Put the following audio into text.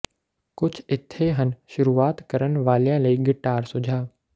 ਕੁਝ ਇੱਥੇ ਹਨ ਸ਼ੁਰੂਆਤ ਕਰਨ ਵਾਲਿਆਂ ਲਈ ਗਿਟਾਰ ਸੁਝਾਅ